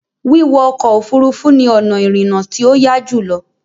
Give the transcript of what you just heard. Wíwọ ọkọ̀ Òfurufú ni ọ̀nà ìrìnà tí ó yá jùlọ